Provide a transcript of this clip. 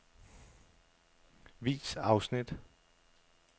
Vis afsnit.